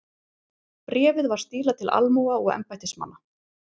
Bréfið var stílað til almúga og embættismanna.